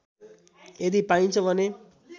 यदि पाइन्छ भने